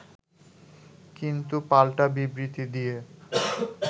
কিন্তু, পাল্টা বিবৃতি দিয়ে